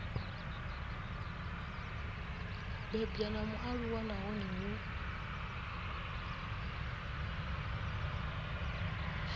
bebwa na mualuwa nahone hu